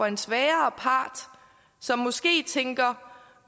en svagere part som måske tænker